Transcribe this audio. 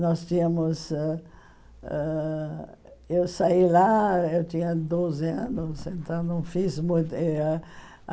Nós tínhamos ãh ãh... Eu saí lá, eu tinha doze anos, então não fiz mui eh ah.